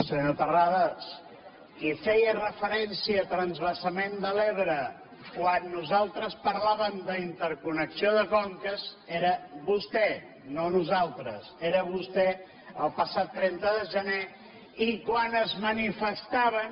senyor terrades qui feia referència a transvasament de l’ebre quan nosaltres parlàvem d’interconnexió de conques era vostè no nosaltres era vostè el passat trenta de gener i quan es manifestaven